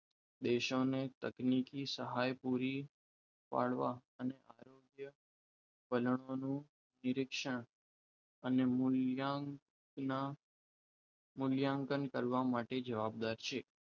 દેશોને તકનીકી સહાય પૂરી પાડવા અને બનાવવાનું direction અને મૂલ્યાંકન કરવા માટે જવાબદાર છે